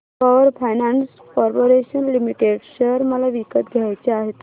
power Finance Corporation Limited share मला विकत घ्यायचे आहेत